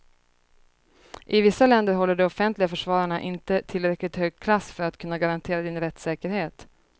I vissa länder håller de offentliga försvararna inte tillräckligt hög klass för att kunna garantera din rättssäkerhet.